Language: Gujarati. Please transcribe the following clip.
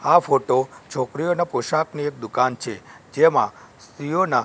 આ ફોટો છોકરીઓના પોશાકની એક દુકાન છે જેમાં સ્ત્રીઓના--